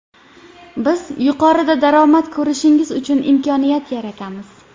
Biz yuqori daromad ko‘rishingiz uchun imkoniyat yaratamiz.